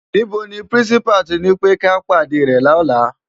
NIbó ni pirinsipá to nipé ki á pádé rè lòlá?